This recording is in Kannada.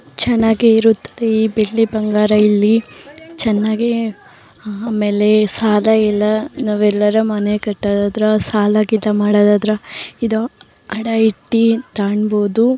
ಚನ್ನಗೆ ಇರುತ್ತದೆ ಈ ಬೆಳ್ಳಿ ಬಂಗಾರ ಇಲ್ಲಿ ಚನ್ನಗೆ ಆಮೇಲೆ ಸಾಲ ಎಲ್ಲ ನಾವೆಲ್ಲಾರ ಮನೆ ಕಟ್ಟದಾದ್ರ ಸಾಲ ಗಿಲ ಮಾಡೋದಾದ್ರ ಇದು ಅಡ ಇಟ್ಟು ತಗೊಂಡುಬೋದು.